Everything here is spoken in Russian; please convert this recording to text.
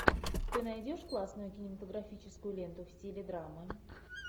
ты найдешь классную кинематографическую ленту в стиле драмы